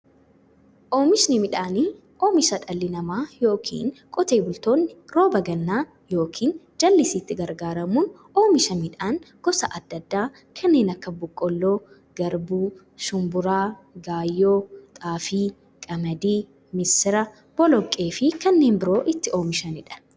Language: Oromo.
Oomishni midhaanii, oomisha dhalli namaa yookiin qotee bultoonni rooba gannaa yookiin jallisiitti gargaaramuun oomisha midhaan gosa adda addaa kanneen akka; boqqoolloo, garbuu, shumburaa, gaayyoo, xaafii, qamadii, misira, boloqqeefi kanneen biroo itti oomishamiidha.